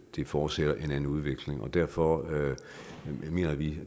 det forudsætter en anden udvikling derfor har vi